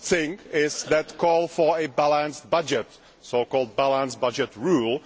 One good thing is the call for a balanced budget the so called balanced budget rule.